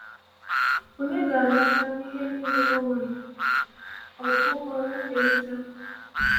Ònye ga - anata ihe niile ọ nwere, ọ bụ ohu ya Eliezer?